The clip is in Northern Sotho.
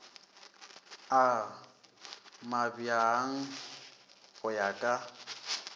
a mabjang go ya ka